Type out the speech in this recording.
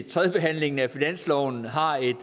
tredjebehandlingen af finansloven har et